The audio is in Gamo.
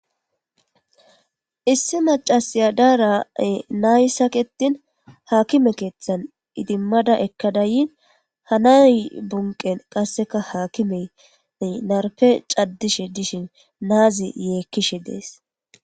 issi macasiya daarae nay saketin haakime keeththan idimmada ekka dayin hanay bunqen qasseka haakimene narpe caddishe dishin naazi yeekkishe dees